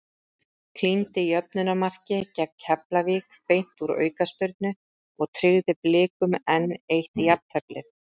Klíndi jöfnunarmarki gegn Keflavík beint úr aukaspyrnu og tryggði Blikum enn eitt jafnteflið.